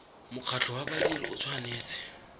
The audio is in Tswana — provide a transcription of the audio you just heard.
mokgatlho wa badiri o tshwanetse